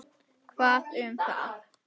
Hvað um það.